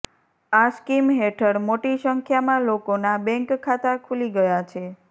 આ સ્કીમ હેઠળ મોટી સંખ્યામાં લોકોના બેંક ખાતા ખુલી ગયા છે